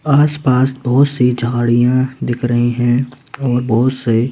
आस-पास बहुत सी झाड़ियां दिख रही हैं और बहुत से--